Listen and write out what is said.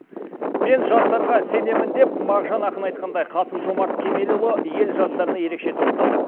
мен жастарға сенемін деп мағжан ақын айтқандай қасым жомарт кемелұлы ел жастарына ерекше тоқталды